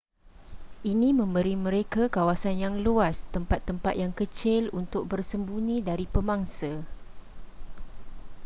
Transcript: ini memberi mereka kawasan yang luas tempat-tempat yang kecil untuk bersembunyi dari pemangsa